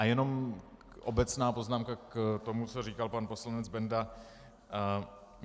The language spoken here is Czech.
A jenom obecná poznámka k tomu, co říkal pan poslanec Benda.